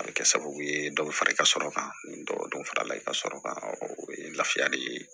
A bɛ kɛ sababu ye dɔ bɛ fara i ka sɔrɔ kan ni dɔ farala i ka sɔrɔ kan o ye lafiya de ye